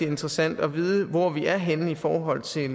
interessant at vide hvor vi er henne i forhold til